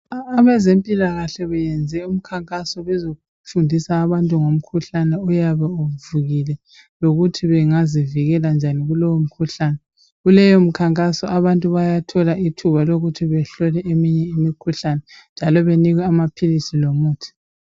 Abezempilakahle beyenze umkhankaso befundisa abantu ngomkhuhlane oyabe uvukile ukuthi bengazivikela njani kulowomkhuhlane. Kuleyo mkhankaso abantu bayathola ithuba lokuthi behlole eminye imikhuhlane njalo banikwe amaphilisi lomuthi.